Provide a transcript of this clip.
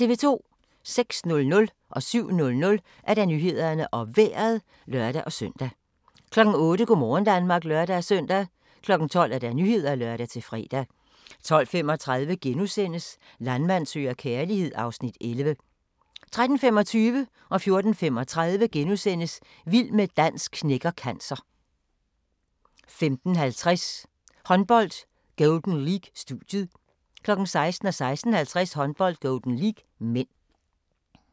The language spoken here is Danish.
06:00: Nyhederne og Vejret (lør-søn) 07:00: Nyhederne og Vejret (lør-søn) 08:00: Go' morgen Danmark (lør-søn) 12:00: Nyhederne (lør-fre) 12:35: Landmand søger kærlighed (Afs. 11)* 13:25: Vild med dans knækker cancer * 14:35: Vild med dans knækker cancer 15:50: Håndbold: Golden League - studiet 16:00: Håndbold: Golden League (m) 16:50: Håndbold: Golden League (m)